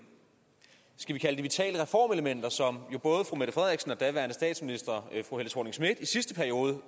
vitale reformelementer som både fru mette frederiksen og daværende statsminister fru helle thorning schmidt i sidste periode